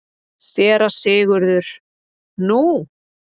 SÉRA SIGURÐUR: Nú?